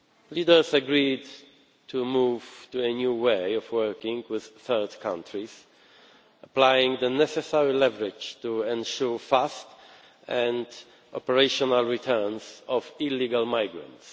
Leaders agreed to move to a new way of working with third countries, applying the necessary leverage to ensure fast and operational returns of illegal migrants.